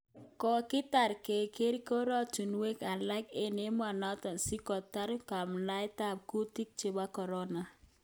Kogetai keger goratinwek alak eng emenoto si koteer kanamdaet ab kutik chebo Corona